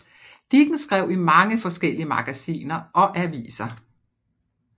Dickens skrev i mange forskellige magasiner og aviser